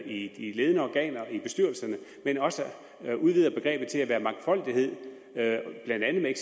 i de ledende organer i bestyrelserne men også udvider begrebet til at være mangfoldighed blandt andet med